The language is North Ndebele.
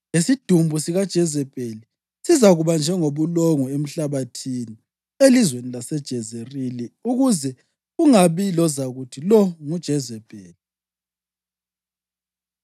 lesidumbu sikaJezebheli sizakuba njengobulongwe emhlabathini elizweni laseJezerili ukuze kungabi lozakuthi, ‘Lo nguJezebheli.’ ”